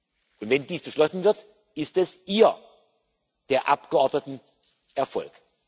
Und wenn dies beschlossen wird, ist es Ihr der Abgeordneten Erfolg.